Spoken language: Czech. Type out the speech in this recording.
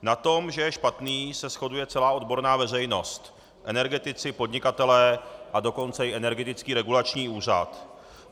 Na tom, že je špatný, se shoduje celá odborná veřejnost - energetici, podnikatelé, a dokonce i Energetický regulační úřad.